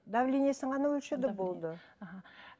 давлениесін ғана өлшеді болды аха